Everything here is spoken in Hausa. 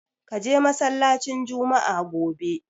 Ka je masallacin Jumma'a gobe!